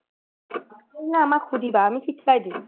নোৱাৰিলে আমাক সুধিবা আমি শিকাই দিম